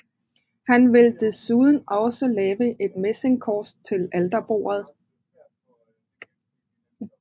Han vil desuden også lavet et messingkors til alterbordet